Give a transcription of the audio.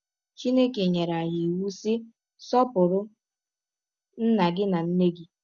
Chineke nyere anyị iwụ, sị: Sọpụrụ nna gị na nne gị.